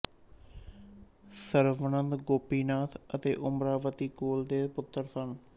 ਸਰਵਨੰਦ ਗੋਪੀਨਾਥ ਅਤੇ ਓਮਰਾਵਤੀ ਕੌਲ ਦੇ ਪੁੱਤਰ ਸਨ